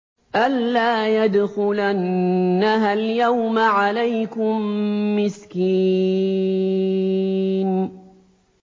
أَن لَّا يَدْخُلَنَّهَا الْيَوْمَ عَلَيْكُم مِّسْكِينٌ